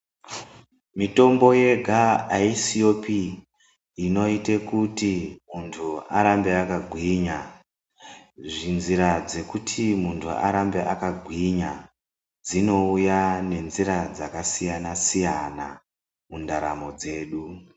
Mitombo yega aisiyopi inoite kuti muntu arambe yakagwinya, zvinzira dzekuti munhu arambe akagwinya dzinouya nenzira dzakasiyana-siyana mundaramo dzedu.